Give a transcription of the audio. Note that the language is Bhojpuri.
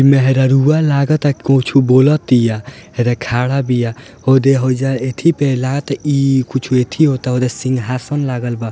मेहरारूआ लगतिया की कुछो बोलतिया | यह खड़ा बिया हौदे औजा एथी पे लगता इ कुछओ एथी होता सिंहासन लागल बा।